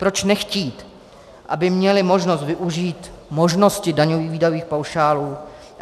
Proč nechtít, aby měli možnost využít možnosti daňových výdajových paušálů?